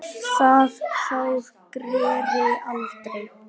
Það sár greri aldrei.